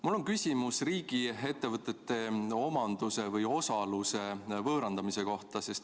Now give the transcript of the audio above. Mul on küsimus riigiettevõtete omanduse või osaluse võõrandamise kohta.